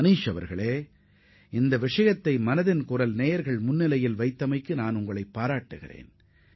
மனிஷ் மனதின் குரல் நிகழ்ச்சியின் நேயர்களிடையே இந்தப் பிரச்சினையை முன்வைத்ததற்காக நான் உங்களை பாராட்டுகிறேன்